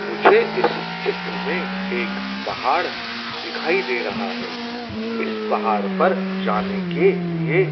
मुझे इस चित्र में एक पहाड़ दिखाई दे रहा है इस पहाड़ पर जाने के लिए--